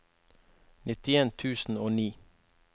nittien tusen og ni